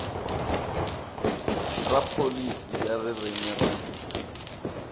ra pholisi ya ririmi ra